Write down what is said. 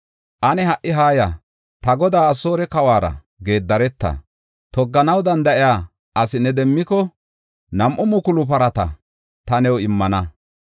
“Ane ha77i haaya! Ta godaa Asoore kawuwara geedareta. Togganaw danda7iya asi ne demmiko, nam7u mukulu parata ta new immana.